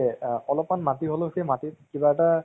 হয় হয় হয়, নিশ্চয় নিশ্চয় নিশ্চয় । যেনেকে three idiots ৰ পৰা তুমি নিশ্চয়